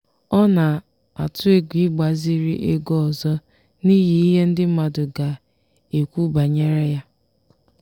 ọ na-atụ egwu ịgbaziri ego ọzọ n'ihi ihe ndị mmadụ ga-ekwu banyere ya.